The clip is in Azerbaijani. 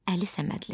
Əli Səmədli.